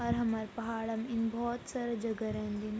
अर हमर पहाड़ म इन भोत सारा जगह रेन्दीन ।